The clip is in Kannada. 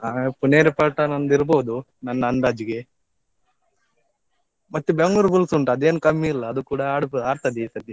ಹಾ Puneri Paltan ಒಂದಿರ್ಬೋದು ನನ್ನ ಅಂದಾಜಿಗೆ . ಮತ್ತೆ Bengaluru Bulls ಉಂಟು ಅದೇನು ಕಮ್ಮಿ ಇಲ್ಲ, ಅದು ಕೂಡಾ ಆಡ್~ ಆಡ್ತದೆ ಈ ಸತ್ತಿ.